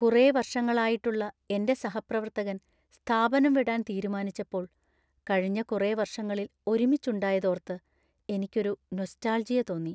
കുറെ വർഷങ്ങളായിട്ടുള്ള എന്‍റെ സഹപ്രവർത്തകൻ സ്ഥാപനം വിടാൻ തീരുമാനിച്ചപ്പോൾ കഴിഞ്ഞ കുറെ വർഷങ്ങളിൽ ഒരുമിച്ച് ഉണ്ടായത് ഓർത്ത് എനിക്ക് ഒരു നൊസ്റ്റാൾജിയ തോന്നി .